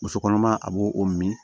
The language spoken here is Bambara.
Muso kɔnɔma a b'o o min